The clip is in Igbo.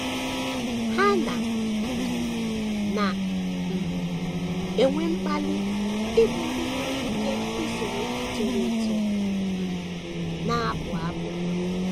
Ha na um na um - enwe mkpali ịbụ ndị nwere ike isoro ndị toro eto um na - abụ abụ.